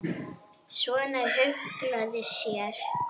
Svona huglægt séð.